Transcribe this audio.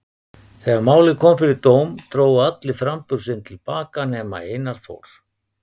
Þegar málið kom fyrir dóm drógu allir framburð sinn til baka nema Einar Þór.